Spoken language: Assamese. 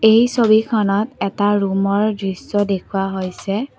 এই ছবিখনত এটা ৰুমৰ দৃশ্য দেখুওৱা হৈছে।